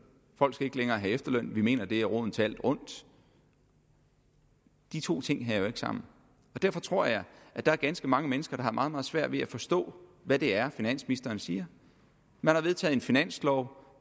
folk skal ikke længere have efterløn for vi mener det er roden til alt ondt de to ting hænger jo ikke sammen derfor tror jeg at der er ganske mange mennesker der har meget meget svært ved at forstå hvad det er finansministeren siger man har vedtaget en finanslov